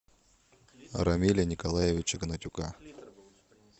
рамиля николаевича гнатюка